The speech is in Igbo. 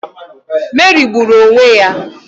Meri gburu onwe ya.